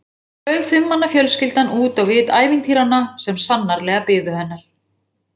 Svo flaug fimm manna fjölskyldan út á vit ævintýranna sem sannarlega biðu hennar.